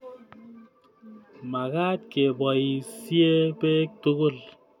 Makaat keboisie beek tugul